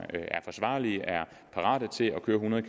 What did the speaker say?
er parate til at køre hundrede